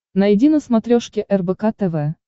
найди на смотрешке рбк тв